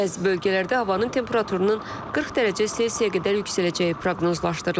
Bəzi bölgələrdə havanın temperaturunun 40 dərəcə Selsiyə qədər yüksələcəyi proqnozlaşdırılır.